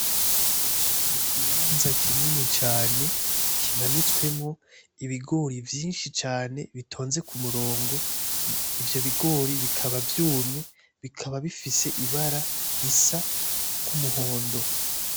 ikibanza kinini cane kimanitswemwo ibigori vyinshi cane bitonze kumurongo. Ivyo bigori bikaba vyumye bikaba bifise ibara risa nk'umuhondo.